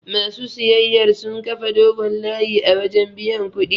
Ma su siyayyar sun kafa dogon layi a wajen biyan kuɗi.